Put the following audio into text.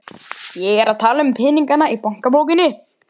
Ragnhildur átti tvo aðra bræður, þá Markús og Böðvar.